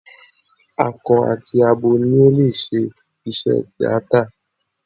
Akọ àti abo ni ó lè ṣe iṣẹ́ tíátà.